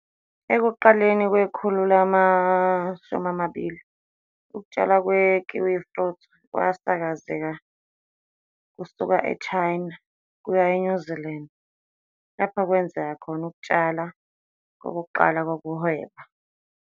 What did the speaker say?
Ekuqaleni kwekhulu lama-20, ukutshalwa kwe-kiwifruit kwasakazeka kusuka eChina kuya eNew Zealand, lapho kwenzeka khona ukutshala kokuqala kokuhweba.